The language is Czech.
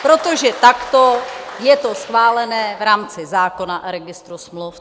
Protože takto je to schválené v rámci zákona o registru smluv.